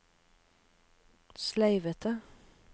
sleivete